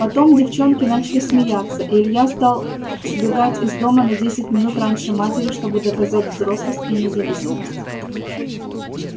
потом девчонки начали смеяться и илья стал сбегать из дома на десять минут раньше матери чтобы доказать взрослость и независимость